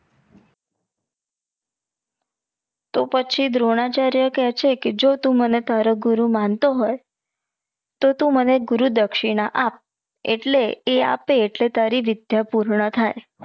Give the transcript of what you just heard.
તો પછી દ્રોણાચાર્ય કે છે કે જો તું મને તારો ગુરુ માણતો હોય તો તું મને ગુરુ દક્ષિણા આપ એટલે એ આપે આટલે તારી વિધ્ય પૂર્ણ થાઈ